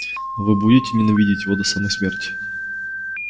вы будете ненавидеть его до самой смерти